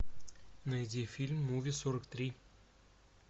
найди фильм муви сорок три